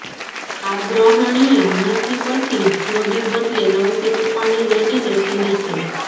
આગ્રહણીય નથી પછી જોડી બદલે નવશેકું પાણી રેડીને ઠંડી છે